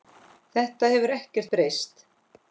Þetta hefur ekkert breyst.